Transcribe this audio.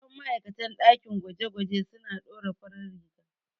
Fasihan ma'aikatan ɗakin gwaje-gwaje suna ɗora farar riga.